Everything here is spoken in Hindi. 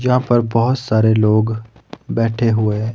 यहां पर बहोत सारे लोग बैठे हुए हैं।